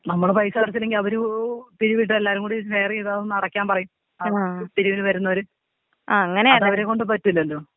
നമ്മള് പൈസ അടച്ചില്ലെങ്കി അവര് പിരിവിട്ട് എല്ലാരും കൂടി ഷെയറീത് അതൊന്ന് അടക്കാൻ പറയും. പിരിവിന് വരുന്നവര്. അതവരേ കൊണ്ട് പറ്റില്ലല്ലോ.